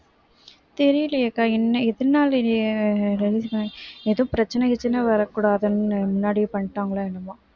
தெரியலையேக்கா என்ன எதனால ஏதும் பிரச்சனை கிச்சனை வரக்கூடாதுன்னு முன்னாடியே பண்ணிட்டாங்களோ என்னமோ